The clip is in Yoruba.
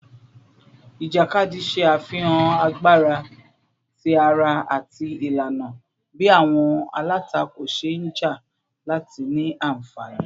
Ijakadi ṣe afihan agbara ti ara ati ilana bi awọn alatako ṣe nja lati ni anfani